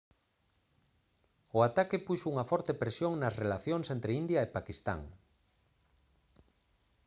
o ataque puxo unha forte presión nas relacións entre india e paquistán